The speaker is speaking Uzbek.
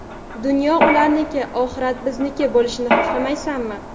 Dunyo ularniki, oxirat bizniki bo‘lishini xohlamaysanmi.